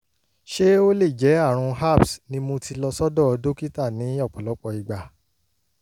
ṣé ó lè jẹ́ àrùn herpes ni mo ti lọ sọ́dọ̀ dókítà ní ọ̀pọ̀lọpọ̀ ìgbà